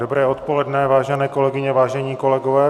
Dobré odpoledne, vážené kolegyně, vážení kolegové.